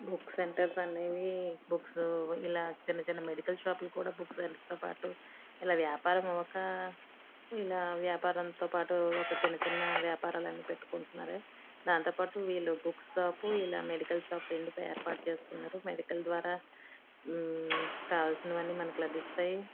Book centres అనేవి books ఇలా చిన్న చిన్న మెడికల్ షాప్ ల పటు ఇలా ఉయపరం అవ్వక ఇలా వ్యాపారం తో పటు చిన్న చిన్న వ్యాపారాలన్నీ పెట్టుకుంటున్నారు దానితో పాటు వేళా బుక్ షాప్ మెడికల్ షాపు ఇలా రెండు గ ఏర్పాటు చేసుకున్నారు మెడికల్ ద్వారా మ్మ్ కావాల్సిన వాణ్ణి మనకి లభిస్తాయి.